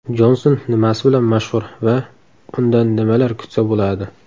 Jonson nimasi bilan mashhur va undan nimalar kutsa bo‘ladi?